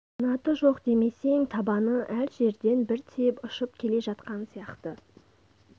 қанаты жоқ демесең табаны әр жерден бір тиіп ұшып келе жатқан сияқты